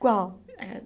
Qual? É